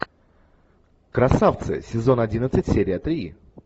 красавцы сезон одиннадцать серия три